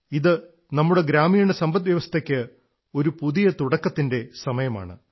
ഇത് നമ്മുടെ ഗ്രാമീണ സമ്പദ്വ്യവസ്ഥയ്ക്ക് ഒരു പുതിയ തുടക്കത്തിന്റെ സമയമാണ്